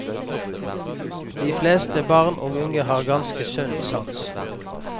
De fleste barn og unge har ganske sunn sans.